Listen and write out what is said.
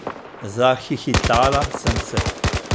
Zahihitala sem se.